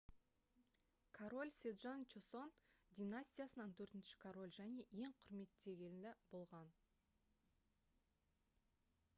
король седжон чосон династиясынан төртінші король және ең құрметтелгені болған